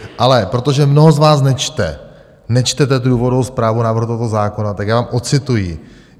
Ale protože mnoho z vás nečte, nečtete důvodovou zprávu návrhu tohoto zákona, tak já vám ocituji.